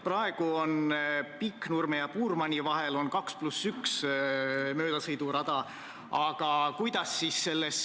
Praegu on Pikknurme ja Puurmani vahel möödasõidu huvides 2 + 1 sõidurada.